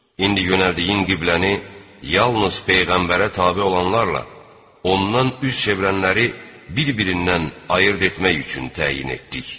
İndi yönəldiyin qibləni yalnız peyğəmbərə tabe olanlarla, ondan üz çevirənləri bir-birindən ayırd etmək üçün təyin etdik.